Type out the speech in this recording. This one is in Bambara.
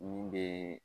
Min bɛ